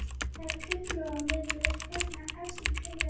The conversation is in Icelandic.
Það var köngurlóarvefur hérna efst í klaufinni